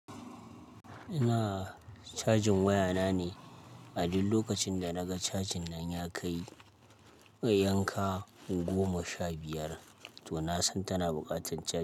Ina cajin waya na ne, a dul lokacin da naga cajin nan ya kai yanka goma sha biyar to na san tana buƙatan caji.